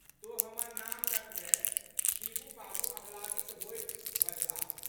तोँ हमर नाम रखबेँ शिबू बाबू आह्लादित होइत बजलाह।